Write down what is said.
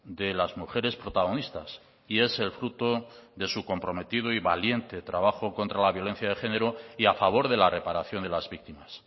de las mujeres protagonistas y es el fruto de su comprometido y valiente trabajo contra la violencia de género y a favor de la reparación de las víctimas